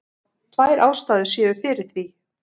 Tvær ástæður séu fyrir því